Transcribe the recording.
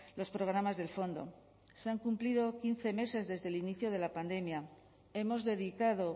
los programas del fondo se han cumplido quince meses desde el inicio de la pandemia hemos dedicado